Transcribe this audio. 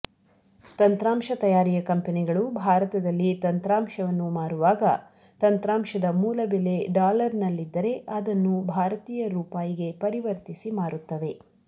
ತಂತ್ರಾಂಶ ತಯಾರಿಯ ಕಂಪೆನಿಗಳು ಭಾರತದಲ್ಲಿ ತಂತ್ರಾಂಶವನ್ನು ಮಾರುವಾಗ ತಂತ್ರಾಂಶದ ಮೂಲ ಬೆಲೆ ಡಾಲರ್ನಲ್ಲಿದ್ದರೆ ಅದನ್ನು ಭಾರತೀಯ ರೂಪಾಯಿಗೆ ಪರಿವರ್ತಿಸಿ ಮಾರುತ್ತವೆ